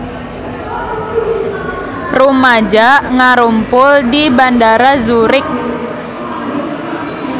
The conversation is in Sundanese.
Rumaja ngarumpul di Bandara Zurich